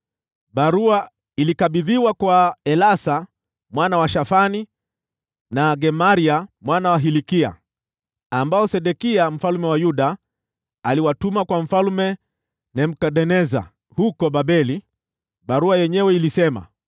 Barua ilikabidhiwa kwa Elasa mwana wa Shafani, na kwa Gemaria mwana wa Hilkia, ambao Sedekia mfalme wa Yuda aliwatuma kwa Mfalme Nebukadneza huko Babeli. Barua yenyewe ilisema: